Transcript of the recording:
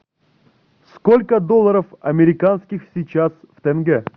сколько долларов американских сейчас в тенге